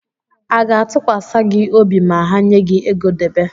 A ga-ntụkwasị gi obi ma ha nye gị ego debe?